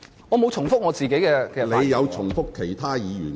我沒有重複自己的論點。